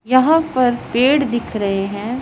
यहां पर पेड़ दिख रहे हैं।